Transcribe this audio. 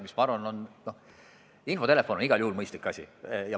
Ma arvan, et infotelefon on igal juhul mõistlik asi.